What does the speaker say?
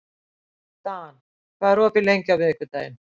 Dan, hvað er opið lengi á miðvikudaginn?